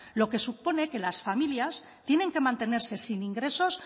lo que supone que las familias tienen que mantenerse sin ingresos